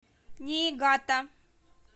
ниигата